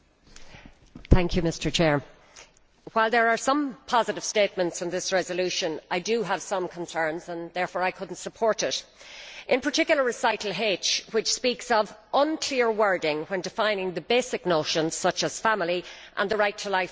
Mr President, while there are some positive statements in this resolution, I have some concerns and could therefore not support it, in particular recital H, which speaks of unclear wording when defining basic notions such as family and the right to life from the moment of conception'.